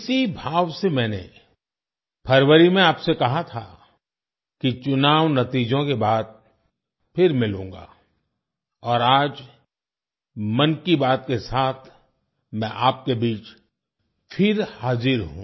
इसी भाव से मैंने फरवरी में आपसे कहा था कि चुनाव नतीजों के बाद फिर मिलूँगा और आज 'मन की बात' के साथ मैं आपके बीच फिर हाजिर हूँ